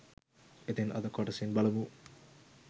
ඉතින් අද කොටසින් බලමු